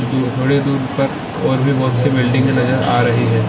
दूर थोड़ी दूर तक और भी बहुत- सी बिल्डिंगे नजर आ रही है |